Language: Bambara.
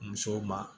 Musow ma